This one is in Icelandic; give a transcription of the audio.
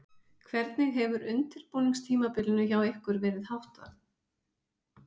Hvernig hefur undirbúningstímabilinu hjá ykkur verið háttað?